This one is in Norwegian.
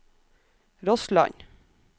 Rossland